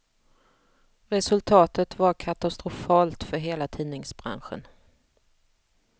Resultatet var katastrofalt för hela tidningsbranschen.